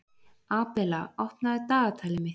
Abela, opnaðu dagatalið mitt.